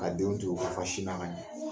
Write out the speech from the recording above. Ka denw to yen u la fa sin na ka ɲan.